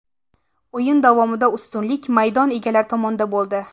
O‘yin davomida ustunlik maydon egalari tomonida bo‘ldi.